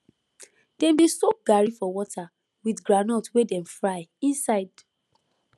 dem dey soak garri for water with groundnut wey dem fry inside